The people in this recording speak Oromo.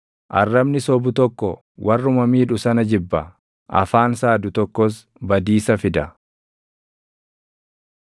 Arrabni sobu tokko warruma miidhu sana jibba; afaan saadu tokkos badiisa fida.